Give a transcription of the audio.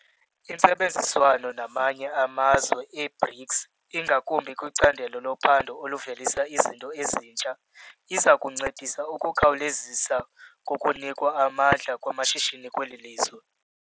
Intsebenziswano namanye amazwe e-BRICS, ingakumbi kwicandelo lophando oluvelisa izinto ezintsha, iza kuncedisa ukukhawulezisa kokunikwa amandla kwamashishini kweli lizwe.